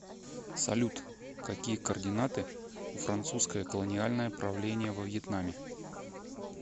салют какие координаты у французское колониальное правление во вьетнаме